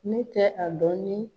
Ne tɛ a dɔn ni